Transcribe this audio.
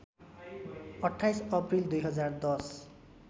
२८ April २०१०